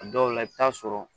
A dɔw la i bi taa sɔrɔ